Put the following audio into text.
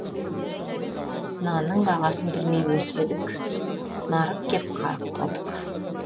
нанның бағасын білмей өсіп едік нарық кеп қарық болдық